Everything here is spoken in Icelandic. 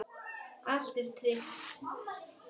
Allt er tryggt.